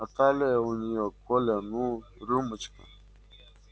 а талия у нее коля ну рюмочка